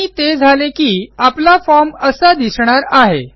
आणि ते झाले की आपला फॉर्म असा दिसणार आहे